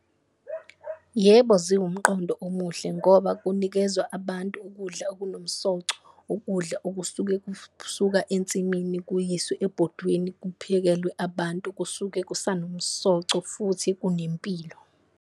Yebo, ziwumqondo omuhle ngoba kunikezwa abantu ukudla okunomsoco, ukudla okusuke ensimini kuyiswe ebhodweni kuphekelwe abantu kusuke kusanomsoco futhi kunempilo.